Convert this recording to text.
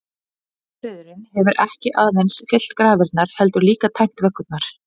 Ófriðurinn hefur ekki aðeins fyllt grafirnar, heldur líka tæmt vöggurnar.